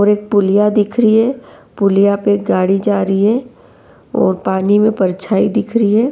और एक पुलिया दिख रही है। पुलिया पे गाड़ी जा रही है और पानी में परछाई दिख रही है।